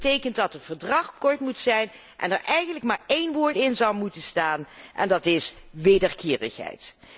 Dat betekent dat het verdrag kort moet zijn en er eigenlijk maar één woord in zou moeten staan en dat is wederkerigheid.